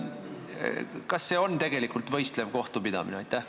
Kas see on tegelikult võistlev kohtupidamine?